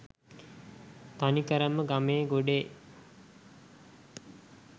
තනිකරම ගමේ ගොඩේ